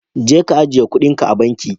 Jeka ka ajiye kuɗinka a banki.